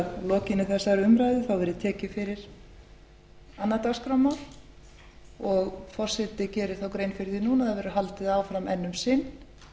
lokinni þessari umræðu verði tekið fyrir annað dagskrármál og forseti gerir þá grein fyrir því núna að það verði haldið áfram enn um sinn